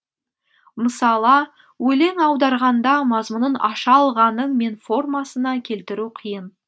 мысала өлең аударғанда мазмұнын аша алғаның мен формасына келтіру қиын